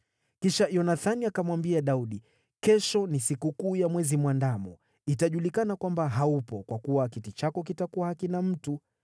Kisha Yonathani akamwambia Daudi, “Kesho ni sikukuu ya Mwezi Mwandamo. Itajulikana kwamba haupo kwa kuwa kiti chako kitakuwa hakina mtu.